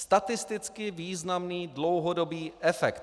Statisticky významný dlouhodobý efekt.